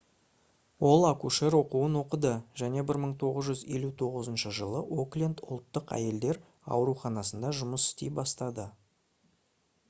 ол акушер оқуын оқыды және 1959 жылы окленд ұлттық әйелдер ауруханасында жұмыс істей бастады